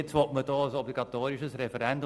Jetzt will man ein obligatorisches Referendum.